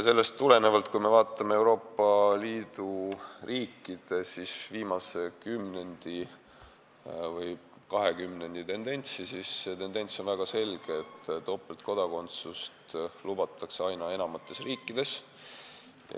Sellest tulenevalt, kui me vaatame viimase paari kümnendi tendentsi Euroopa Liidu riikides, siis see tendents on väga selge – topeltkodakondsust lubatakse aina enamates riikides.